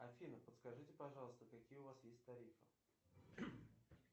афина подскажите пожалуйста какие у вас есть тарифы